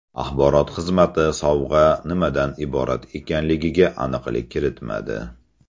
Axborot xizmati sovg‘a nimadan iborat ekanligiga aniqlik kiritmadi.